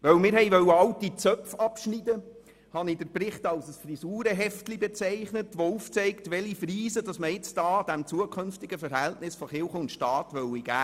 Weil wir alte Zöpfe abschneiden wollten, habe ich den Bericht als «Frisurenheft» bezeichnet, welches aufzeigt, welche Frisur man dem zukünftigen Verhältnis von Kirche und Staat geben könnte.